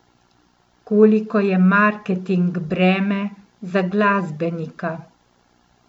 Koliko je marketing breme za glasbenika?